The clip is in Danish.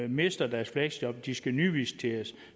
mister deres fleksjob og de skal nyvisiteres